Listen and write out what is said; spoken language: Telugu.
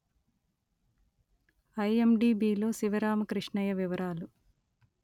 ఐ_letter-en ఎం_letter-en డి_letter-en బి_letter-en లో శివరామకృష్ణయ్య వివరాలు